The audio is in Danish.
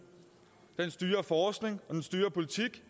den styrer forskning og den styrer politik